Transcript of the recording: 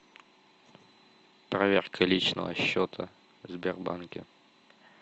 проверка личного счета в сбербанке